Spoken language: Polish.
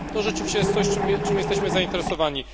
To rzeczywiście jest coś, czym jesteśmy zainteresowani.